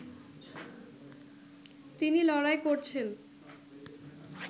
তিনি লড়াই করছেন